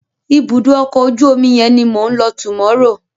Ibùdó ọkọ̀ ojú omi yẹn ni mò ń lọ tomorrow.